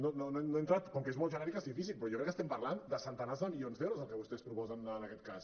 no he entrat com que és molt genèrica és difícil però jo crec que estem parlant de centenars de milions d’euros el que vostès proposen en aquest cas